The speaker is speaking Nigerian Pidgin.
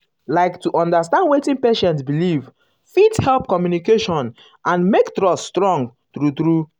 like to understand wetin patient believe fit help communication and make trust strong strong true true.